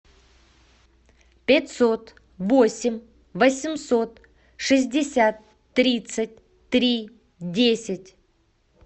пятьсот восемь восемьсот шестьдесят тридцать три десять